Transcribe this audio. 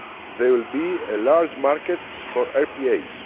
There will be a large market for RPAs.